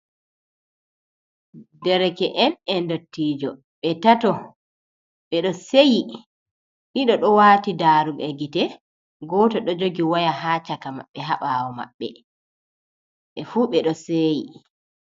Dereke'en e ndottijo, ɓe tato ɓe ɗo seyi, ɗiɗo ɗo waati darooɗe gite ,gooto ɗo jogi waya haa caka maɓɓe, haa ɓaawo maɓɓe, ɓe fuu ɓe ɗo seyi.